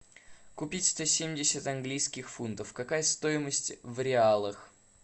купить сто семьдесят английских фунтов какая стоимость в реалах